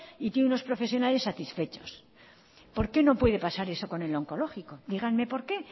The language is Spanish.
y tiene unos profesionales satisfechos por qué no puede pasar eso con el onkologiko díganme por qué